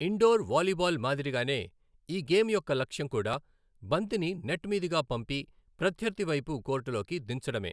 Indoor volleyball మాదిరిగానే, ఈ game యొక్క లక్ష్యం కూడా, బంతిని నెట్ మీదుగా పంపి, ప్రత్యర్థి వైపు కోర్టులోకి దించడమే.